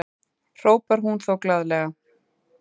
hrópar hún þá glaðlega.